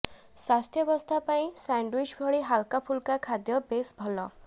ସ୍ୱାସ୍ଥ୍ୟ ପାଇଁ ସ୍ୟାଣ୍ଡଓ୍ୱିଚ୍ ଭଳି ହାଲକାଫୁଲକା ଖାଦ୍ୟ ବେଶ୍ ଭଲ